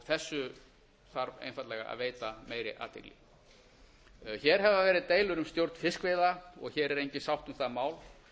þessu þarf einfaldlega að veita meiri athygli hér hafa verið deilur um stjórn fiskveiða og hér er engin sátt um það mál